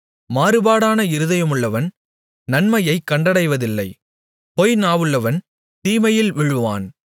மாறுபாடான இருதயமுள்ளவன் நன்மையைக் கண்டடைவதில்லை பொய் நாவுள்ளவன் தீமையில் விழுவான்